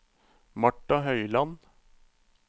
Marta Høiland